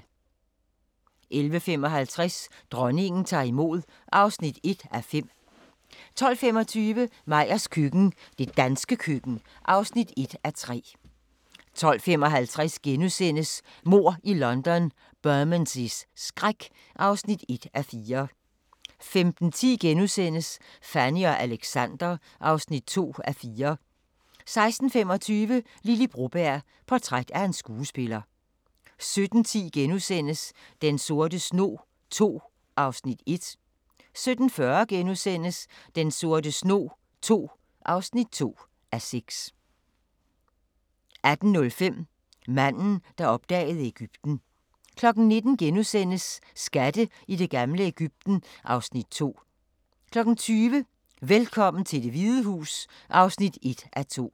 11:55: Dronningen tager imod (1:5) 12:25: Meyers køkken – det danske køkken (1:3) 12:55: Mord i London – Bermondseys skræk (1:4)* 15:10: Fanny og Alexander (2:4)* 16:25: Lily Broberg – portræt af en skuespiller 17:10: Den sorte snog II (1:6)* 17:40: Den sorte snog II (2:6)* 18:05: Manden, der opdagede Egypten 19:00: Skatte i det gamle Egypten (Afs. 2)* 20:00: Velkommen til Det Hvide Hus (1:2)